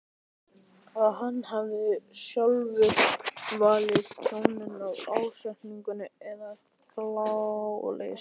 að hann hafi sjálfur valdið tjóni af ásetningi eða gáleysi.